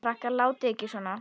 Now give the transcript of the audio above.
Krakkar látiði ekki svona!